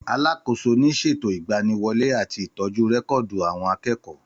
Àlàkósò ni sẹtó Ìgbàní wólè àtí Ìtọjú rẹkọdú awon àkẹkọ.